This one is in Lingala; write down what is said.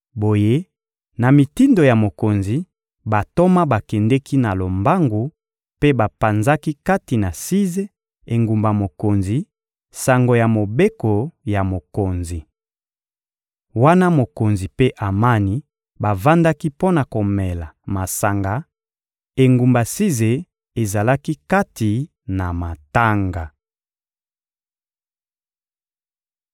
Boye, na mitindo ya mokonzi, bantoma bakendeki na lombangu mpe bapanzaki kati na Size, engumba mokonzi, sango ya mobeko ya mokonzi. Wana mokonzi mpe Amani bavandaki mpo na komela masanga, engumba Size ezalaki kati na matanga.